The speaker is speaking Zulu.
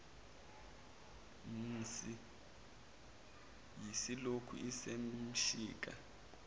mhsi iyilokhu isemshika